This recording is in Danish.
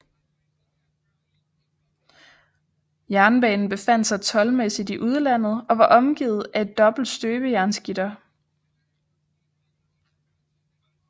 Jernbanen befandt sig toldmæssigt i udlandet og var omgivet af et dobbelt støbejernsgitter